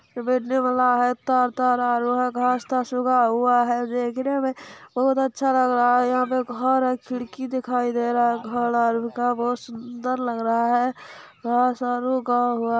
घास धसरा हुआ है देखने में बहुत अच्छा लग रहा है यहाँ पर घर और खिड़की दिखाई दे रहा है बहुत सुन्दर लग रहा है --